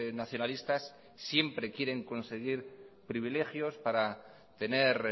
nacionalistas siempre quieren conseguir privilegios para tener